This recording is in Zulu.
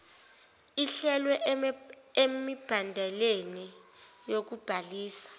ehlelwe emibandeleni yokubhalisa